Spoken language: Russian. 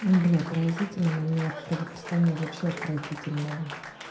ну бля поразительно но у меня правописание вообще отвратительное